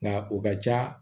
Nka o ka ca